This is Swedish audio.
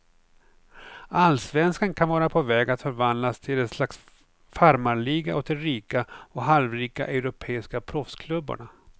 Allsvenskan kan vara på väg att förvandlas till ett slags farmarliga åt de rika och halvrika europeiska proffsklubbarna.